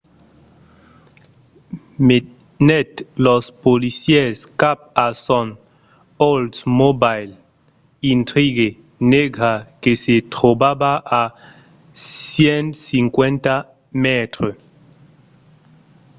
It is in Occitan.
menèt los policièrs cap a son oldsmobile intrigue negra que se trobava a 150 mètres